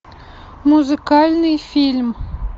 музыкальный фильм